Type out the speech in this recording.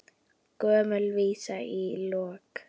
Gömul vísa í lokin.